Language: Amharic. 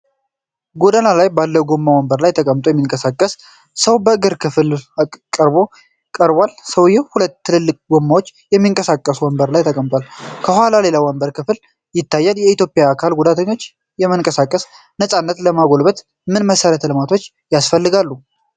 ጎዳና ላይ ባለ ጎማ ወንበር ላይ ተቀምጦ የሚንቀሳቀስ ሰው የእግር ክፍል በቅርበት ቀርቧል። ሰውየው በሁለት ትልልቅ ጎማዎች የሚንቀሳቀስ ወንበር ላይ ተቀምጧል። ከኋላ ሌላ ወንበር ክፍል ይታያል። በኢትዮጵያ የአካል ጉዳተኞች የመንቀሳቀስ ነፃነት ለማጎልበት ምን መሠረተ ልማቶች ያስፈልጋሉ?